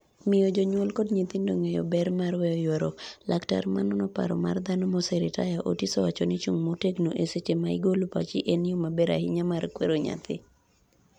miyo jonyuol kod nyithindo ng'eyo ber mar weyo ywaruok, laktar ma nono paro mar dhano, moseritaya Otis owacho ni chung' motegno eseche ma igolo pachi en yo maber ahinya mar kwero nyathi